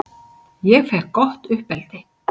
Ég fékk gott uppeldi.